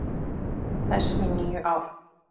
þess í níu ár.